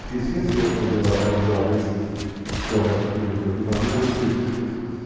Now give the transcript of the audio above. Esquecia-se as desavenças que houvesse por ventura de família, naquele dia esquecia-se.